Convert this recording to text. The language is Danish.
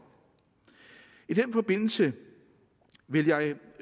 i den forbindelse vil jeg